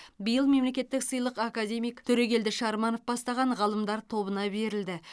биыл мемлекеттік сыйлық академик төрегелді шарманов бастаған ғалымдар тобына берілді